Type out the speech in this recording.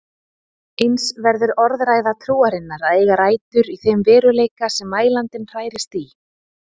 Eins verður orðræða trúarinnar að eiga rætur í þeim veruleika sem mælandinn hrærist í.